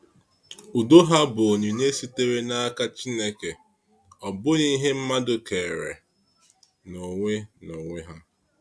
Udo ha bụ onyinye sitere n’aka Chineke, ọ bụghị ihe mmadụ kere n’onwe n’onwe ha.